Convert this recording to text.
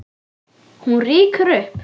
Hún rýkur upp.